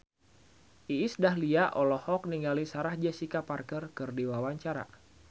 Iis Dahlia olohok ningali Sarah Jessica Parker keur diwawancara